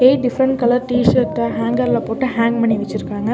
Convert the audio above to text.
Eight different colour டிஷர்ட்ட ஹேங்கர்ல போட்டு ஹேங் பண்ணி வெச்சிருக்காங்க.